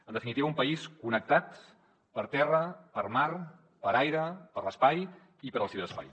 en definitiva un país connectat per terra per mar per aire per l’espai i pel ciberespai